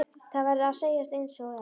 Það verður að segjast einsog er.